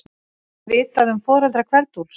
Er vitað um foreldra Kveld-Úlfs?